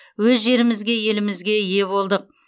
өз жерімізге елімізге ие болдық